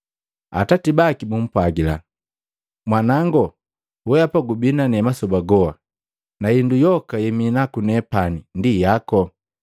Atati baki bumpwagila, ‘Mwanango, weapa gubi na ne masoba goha, na hindu yoka yeminaku nepani ndi yaku.